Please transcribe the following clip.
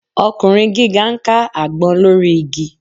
Ọkùnrin gíga ń ká àgbọn lórí igi